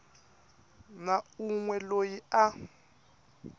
na un we loyi a